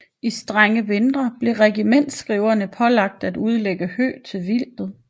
I strenge vintre blev regimentsskriverne pålagt at udlægge hø til vildtet